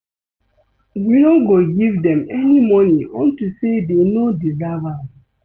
We no go give dem any money unto say dey no deserve am